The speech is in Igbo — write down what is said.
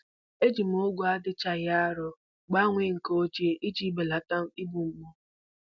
Eji m ọgụ adịchaghị arọ gbanwee nke ochie iji belata igbu mgbu